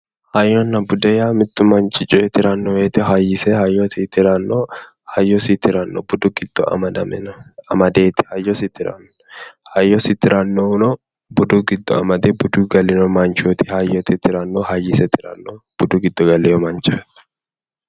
Hayyonna bude yaa mittu manchi coye tiranno woyiite hayyise hayyosi tiranno budu giddo amadameeti hayyosi tiranno hayyosi tirannohuno budu giddo amade budu giddo galeyo manchooti hayyooti tirannohu budu giddo galeyo manchooti